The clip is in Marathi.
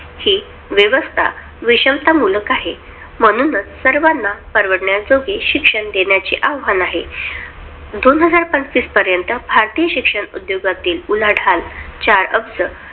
हि व्यवस्था विषमता मुलख आहे, म्हणूनचं सर्वाना परवडन्याजोगी शिक्षण देण्याचे आव्हान आहे, दोन हजार पंचवीस पर्यंत भारतीय शिक्षण उद्योगातील उलाढाल चार अब्ज